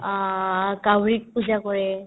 অ, কাউৰীক পূজা কৰে